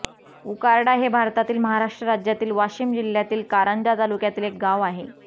उकारडा हे भारतातील महाराष्ट्र राज्यातील वाशिम जिल्ह्यातील कारंजा तालुक्यातील एक गाव आहे